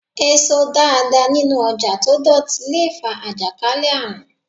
Èso dáadáa nínú ọjà tó dọ̀tí le fa àjàkálẹ̀ àrùn.